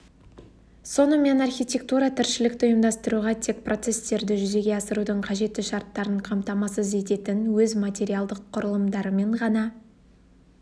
сонымен архитектура тіршілікті ұйымдастыруға тек процестерді жүзеге асырудың қажетті шарттарын қамтамасыз ететін өз материалдық құрылымдарымен ғана